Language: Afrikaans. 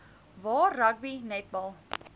waar rugby netbal